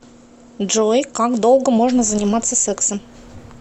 джой как долго можно заниматься сексом